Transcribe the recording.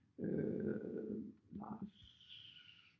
Øh Lars